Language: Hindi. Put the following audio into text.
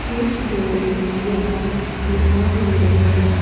कुछ लोग यहां नहा भी रहे हैं।